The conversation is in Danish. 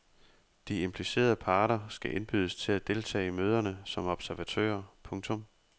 De implicerede parter skal indbydes til at deltage i møderne som observatører. punktum